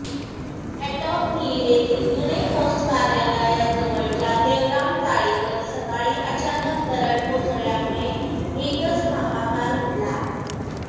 Antop Hill येथील जुने post कार्यालयाजवळच्या देवराम चाळीवर सकाळी अचानक दरड कोसळल्यामुळे एकच हाहाकार उडाला